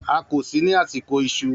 A kò sí ní àsìkò ìṣù.